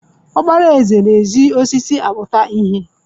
Okpara eze na-eji osisi akputa ihe.